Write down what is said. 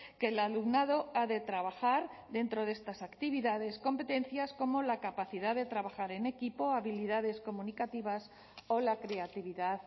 que el alumnado ha de trabajar dentro de estas actividades competencias como la capacidad de trabajar en equipo habilidades comunicativas o la creatividad